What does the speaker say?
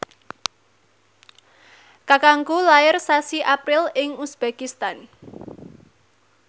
kakangku lair sasi April ing uzbekistan